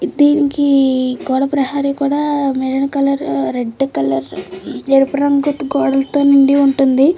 ఇద్దీనికి గోడ ప్రహరీ కూడా మెరూన్ కలర్ రెడ్ కలర్ ఎరుపు రంగు గోడలతో నిండి ఉంటుంది.